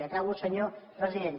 acabo senyor president